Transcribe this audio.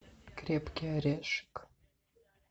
крепкий орешек